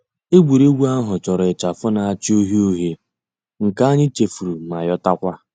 Ègwè́ré́gwụ̀ àhụ̀ chọ̀rọ̀ ịchàfụ̀ nà-àchá ǔhíe ǔhíe, nke ànyị̀ chèfùrù mà yotakwa.